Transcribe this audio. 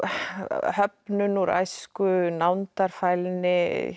höfnun úr æsku nándarfælni